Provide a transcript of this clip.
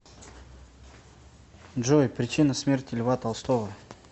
джой причина смерти льва толстого